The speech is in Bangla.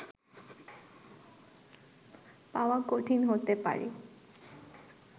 পাওয়া কঠিন হতে পারে